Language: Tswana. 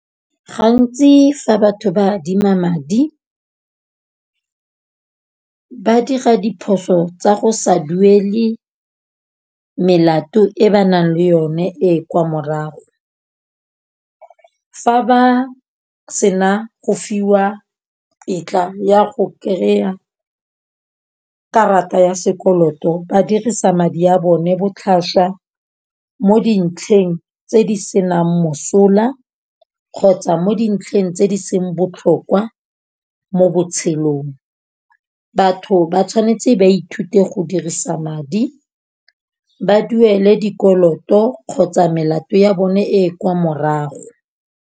Gantsi fa batho ba adima madi ba dira diphoso tsa go sa duele melato e ba nang le yone e kwa morago. Fa ba sena go fiwa tetla ya go kry-a karata ya sekoloto. Ba dirisa madi a bone botlhaswa mo dintlheng tse di senang mosola kgotsa, mo dintlheng tse di seng botlhokwa mo botshelong. Batho ba tshwanetse ba ithute go dirisa madi. Ba duele dikoloto kgotsa melato ya bone e kwa morago.